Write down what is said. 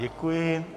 Děkuji.